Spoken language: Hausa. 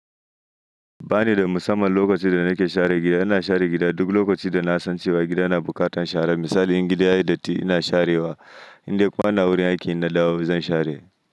Ba ni da musamman lokacin da nake share gida. Ina share gida duk lokacin da na san cewa gidan na buƙatar share. Misali in gida yayi datti ina sharewa, indai kuma ina wurin aiki na dawo zan share.